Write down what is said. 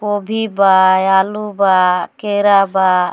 गोभी बा आलू बा खीरा बा।